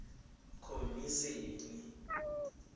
khomisene